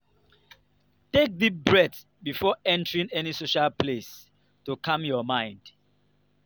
take deep breath before entering any social place to calm your mind.